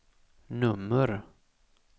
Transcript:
nummer